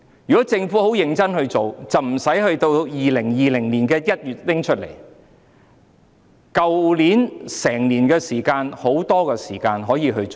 如果政府認真處理，便不會等到2020年1月才提出，去年有很多時間可以做。